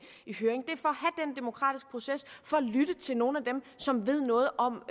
i høring og for at lytte til nogle af dem som ved noget om